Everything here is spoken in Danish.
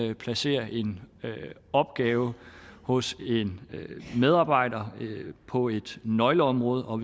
man placerer en opgave hos en medarbejder på et nøgleområde og